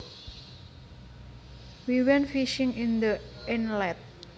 We went fishing in the inlet